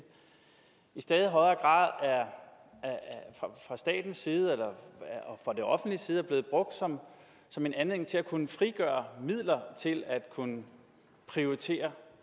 i stadig højere grad fra statens eller det offentliges side er blevet brugt som som en anledning til at kunne frigøre midler til at kunne prioritere